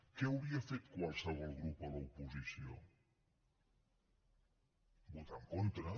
què hauria fet qualsevol grup a l’oposició votar en contra